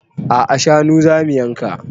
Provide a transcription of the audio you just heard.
A'a shanu zamu yanka